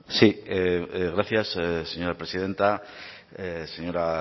sí gracias señora presidenta señora